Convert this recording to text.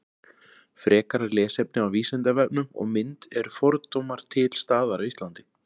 frekara lesefni á vísindavefnum og mynd eru fordómar til staðar á íslandi